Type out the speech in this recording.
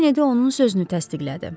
Kenedi də onun sözünü təsdiqlədi.